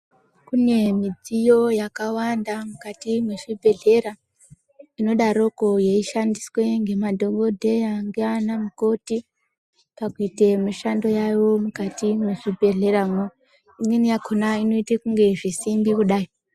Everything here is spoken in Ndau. Kune midziyo yakawanda mukati mezvibhedhlera inodaroko yeishandiswa nemadhokodheya nana mukoti pakuita mishando yawo mukati mezvibhedhleramo imweni yakona inoita sezvisimbi kudai.